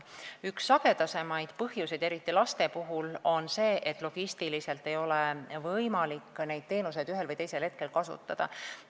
Üks sagedasemaid põhjuseid, eriti laste puhul, on see, et logistiliselt ei ole võimalik neid teenuseid ühel või teisel hetkel kasutada.